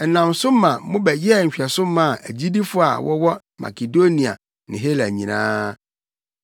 Ɛnam so ma mobɛyɛɛ nhwɛso maa agyidifo a wɔwɔ Makedonia ne Hela nyinaa.